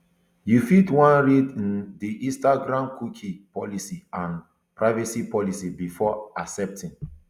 you fit wan um read di instagramcookie policyandprivacy policybefore accepting